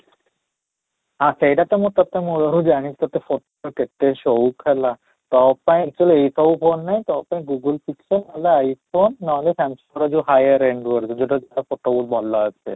ହଁ, ସେଇଟା ତୋ ମୁଁ ତୋତେ ମୂଳରୁ ଜାଣିଛି ତୋତେ photo କେତେ ହେଲା, ତୋ ପାଇଁ actually ଏଇ ସବୁ phone ନାହିଁ ତୋ କାହିଁ google ନାହିଁ ତ I phone ନ ହେଲେ Samsung ର ଯଦି higher android ଯୋଉଟା କି photo ବହୁତ ଭଲ ଆସେ